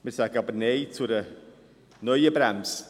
Wir sagen aber Nein zu einer neuen Bremse.